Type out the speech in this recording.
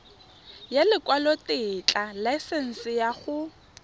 ya lekwalotetla laesense ya go